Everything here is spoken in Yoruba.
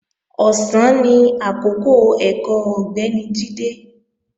Ọ̀sán ni àkọ́kọ́ ẹ̀kọ́ Ọ̀gbẹ́ni Jídé